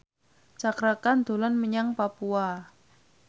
Cakra Khan dolan menyang Papua